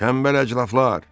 Tənbəl əclafılar!